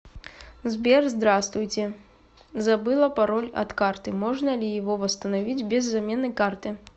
сбер здравствуйте забыла пароль от карты можно ли его восстановить без замены карты